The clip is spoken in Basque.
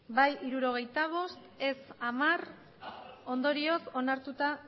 bai hirurogeita bost ez hamar ondorioz onartuta